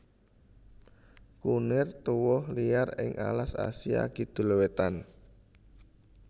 Kunir tuwuh liar ing alas Asia Kidul wétan